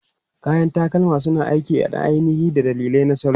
Kayan takalma suna aiki na ainihi da dalilai na salo.